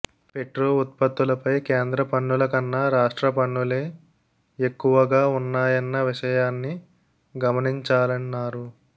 petro ఉత్పత్తులపై కేంద్ర పన్నుల కన్నా రాష్ట్ర పన్నులే ఎక్కువ ఉన్నాయన్న విషయాన్ని గమనించాలన్నారు